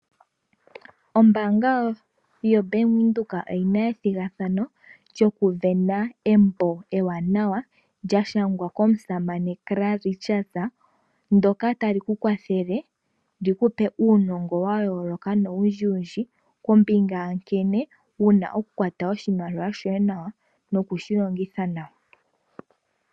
Ombaanga yaBank Windhoek oyina ethigathano lyokuvena embo ewanawa lya shangwa komusamane Carl Richards, ndjoka tali kukwathele likupe uunongo wayooloka nowundji kombinga yankene wuna okukwata oshimaliwa shoye nawa nokushilongitha nawa.